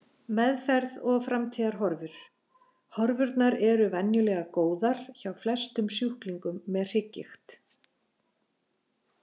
Meðferð og framtíðarhorfur Horfurnar eru venjulega góðar hjá flestum sjúklingum með hrygggigt.